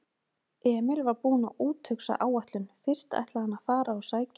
Emil var búinn að úthugsa áætlun: Fyrst ætlaði hann að fara og sækja